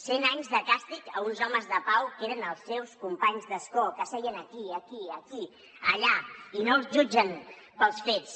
cent anys de càstig a uns homes de pau que eren els seus companys d’escó que seien aquí aquí aquí allà i no els jutgen pels fets